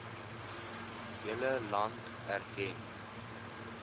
hele land erken